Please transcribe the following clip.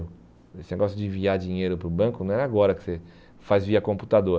Esse negócio de enviar dinheiro para o banco não era agora que você faz via computador.